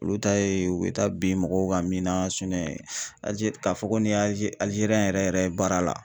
Olu ta ye u bɛ taa bin mɔgɔw ka min na Alize k'a fɔ ko ni Alize Alizeriyɛn yɛrɛ yɛrɛ ye baara la